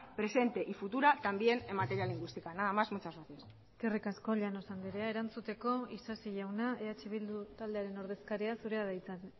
presente y futura también en materia lingüística nada más muchas gracias eskerrik asko llanos andrea erantzuteko isasi jauna eh bildu taldearen ordezkaria zurea da hitza